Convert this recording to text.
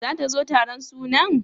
Zata zo taron sunan?